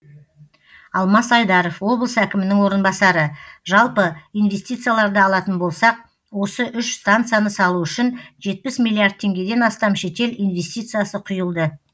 алмас айдаров облыс әкімінің орынбасары жалпы инвестицияларды алатын болсақ осы үш станцияны салу үшін жетпіс миллиард теңгеден астам шетел инвестициясы құйылды